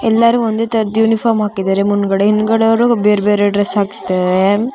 ಎಲ್ಲರೂ ಒಂದೇ ತರದ್ ಯುನಿಫಾರ್ಮ್ ಹಾಕಿದ್ದಾರೆ ಮುಂದ್ಗಡೆ ಬೇರೆ ಬೇರೆ ಡ್ರೆಸ್ ಹಾಕ್ಸ್ತಾ ಇದ್ದಾರೆ.